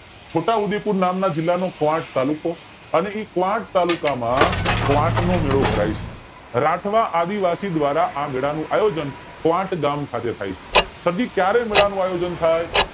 છોટાઉદયપુર નામ નો ક્વોટ તાલુકો અને એ ક્વોટ તાલુકામાં ક્વોટ નો મેળો ભરાય છે રાઠવા આદિવાસી દ્વારા આ મેલા નું આયોજન ક્વોટ ગામ ખાતે થાય છે પછી ક્યારે મેલા નું આયોજન થાય